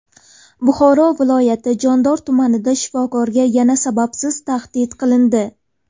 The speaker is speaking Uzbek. Buxoro viloyati Jondor tumanida shifokorga yana sababsiz tahdid qilindi .